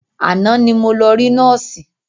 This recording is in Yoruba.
Àná ni mo lọ rí nọ́ọ̀sì.